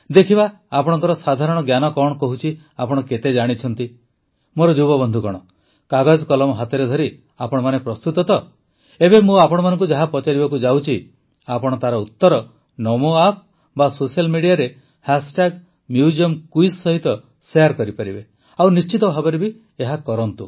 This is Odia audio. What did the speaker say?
ଦେଖିବା ଆପଣଙ୍କ ସାଧାରଣ ଜ୍ଞାନ କଣ କହୁଛି ଆପଣ କେତେ ଜାଣିଛନ୍ତି ମୋର ଯୁବବନ୍ଧୁଗଣ କାଗଜକଲମ ହାତରେ ଧରି ଆପଣମାନେ ପ୍ରସ୍ତୁତ ତ ଏବେ ମୁଁ ଆପଣମାନଙ୍କୁ ଯାହା ପଚାରିବାକୁ ଯାଉଛି ଆପଣ ତାର ଉତ୍ତର ନମୋ ଆପ୍ ବା ସୋସିଆଲ୍ ମିଡିଆରେ ମ୍ୟୁଜିୟମକୁଇଜ୍ ସହିତ ଶେୟାର କରିପାରିବେ ଓ ନିଶ୍ଚିତ ଭାବେ କରନ୍ତୁ